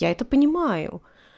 я это понимаю